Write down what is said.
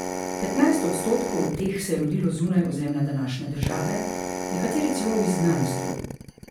Petnajst odstotkov teh se je rodilo zunaj ozemlja današnje države, nekateri celo v izgnanstvu.